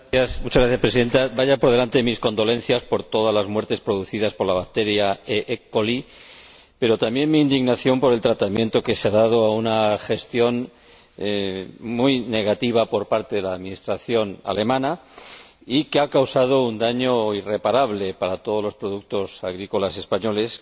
Señora Presidenta, vayan por delante mis condolencias por todas las muertes producidas por la bacteria pero también mi indignación por el tratamiento que se ha dado a una gestión muy negativa por parte de la Administración alemana y que ha causado un daño irreparable para todos los productos agrícolas españoles.